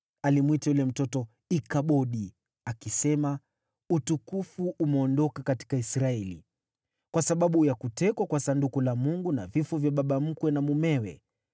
Alimwita yule mtoto Ikabodi, akisema, “Utukufu umeondoka katika Israeli,” kwa sababu ya kutekwa kwa Sanduku la Mungu na vifo vya baba mkwe na mumewe.